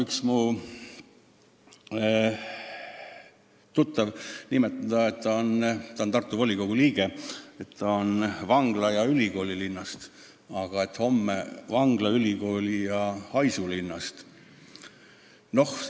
Üks mu tuttav armastab öelda – ta on Tartu volikogu liige –, et ta on vangla- ja ülikoolilinnast, aga homme on ta vangla-, ülikooli- ja haisulinnast.